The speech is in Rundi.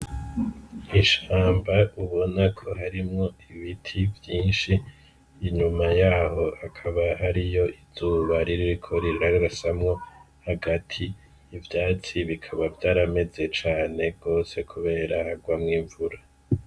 Ishamba ubona ko harimwo ibiti vyinshi inyuma yaho akaba hariyo izuba ririko riragrasamwo hagati ivyatsi bikaba vyarameze cane rwose, kubera hagwamwo imvura.